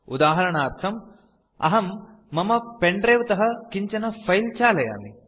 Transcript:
उदाहरणार्थं अहं मम pen द्रिवे तः किञ्चन फिले चालयामि